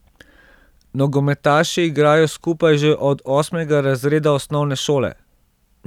Nogometaši igrajo skupaj že od osmega razreda osnovne šole.